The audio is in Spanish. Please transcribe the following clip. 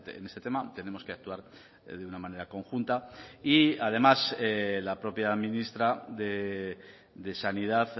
en este tema tenemos que actuar de una manera conjunta y además la propia ministra de sanidad